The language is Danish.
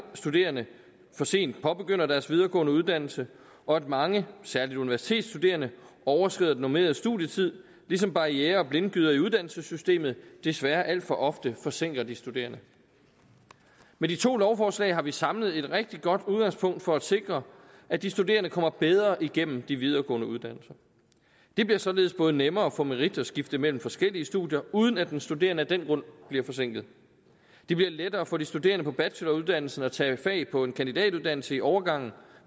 studerende for sent påbegynder deres videregående uddannelse og at mange særlig universitetsstuderende overskrider den normerede studietid ligesom barrierer og blindgyder i uddannelsessystemet desværre alt for ofte forsinker de studerende med de to lovforslag har vi samlet et rigtig godt udgangspunkt for at sikre at de studerende kommer bedre igennem de videregående uddannelser det bliver således nemmere både at få merit og skifte mellem forskellige studier uden at den studerende af den grund bliver forsinket det bliver lettere for de studerende på bacheloruddannelsen at tage fag på en kandidatuddannelse i overgangen